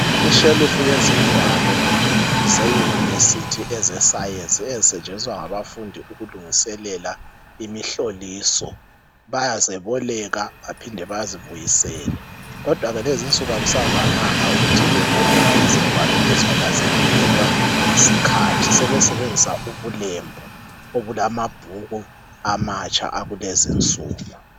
Ishelufu yezingwalo zeyunivesithi ezesayensi, ezisetshenziswa ngabafundi ukulungiselela imihloliso. Bayazeboleka bephinde bazibuyisele. Kodwa ke lezi nsuku akusavamanga ukuthi beboleke izingwalo lezi ngoba zedlulelwa yiskhathi. Sebesebenzisa ubulembu obulamabhuku amatsha akulezi insuku.